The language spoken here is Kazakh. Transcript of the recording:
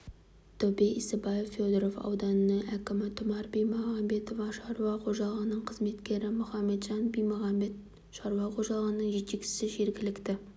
тәубе исабаев федоров ауданының әкімі тұмар бимағанбетова шаруа қожалығының қызметкері мұхаметжан бимағанбет шаруа қожалығының жетекшісі жергілікті